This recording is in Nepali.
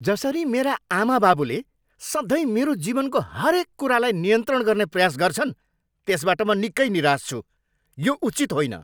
जसरी मेरा आमाबाबुले सधैँ मेरो जीवनको हरेक कुरालाई नियन्त्रण गर्ने प्रयास गर्छन्, त्यसबाट म निकै निराश छु। यो उचित होइन।